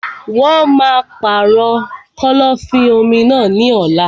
Wọn á pàrọ̀ kọ́lọ́fín-omi náà ní ọ̀la.